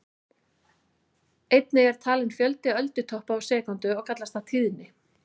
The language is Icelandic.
Einnig er talinn fjöldi öldutoppa á sekúndu og kallast það tíðni.